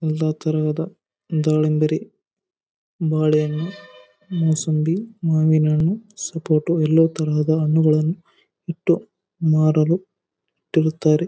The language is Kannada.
ಎಲ್ಲಾ ತರದ ದಾಳಿಂಬೆರೆ ಬಾಳೆಹಣ್ಣು ಮೂಸುಂಬಿ ಮಾವಿನ ಹಣ್ಣು ಸಪೋಟ ಎಲ್ಲಾ ತರದ ಹಣ್ಣುಗಳನ್ನು ಇಟ್ಟು ಮಾರಲು ಇಟ್ಟಿರುತ್ತಾರೆ.